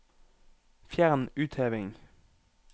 Fjern utheving